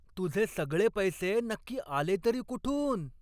तुझे सगळे पैसे नक्की आले तरी कुठून?